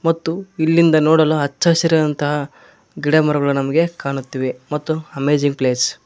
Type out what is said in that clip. ಮತ್ತು ಇಲ್ಲಿಂದ ನೋಡಲು ಅಚ್ಚ ಹಸಿರಿನಂತಹ ಗಿಡ ಮರಗಳು ನಮಗೆ ಕಾಣುತ್ತಿವೆ ಮತ್ತು ಅಮೇಜಿಂಗ್ ಪ್ಲೇಸ್ .